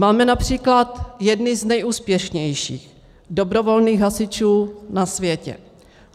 Máme například jedny z nejúspěšnějších dobrovolných hasičů na světě.